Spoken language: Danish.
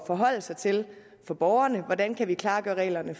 forholde sig til for borgerne hvordan vi kan klargøre reglerne